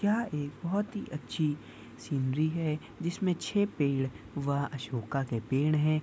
यह एक बहुत ही अच्छी सीनरी है जिसमे छे पेड़ व अशोका के पेड़ है।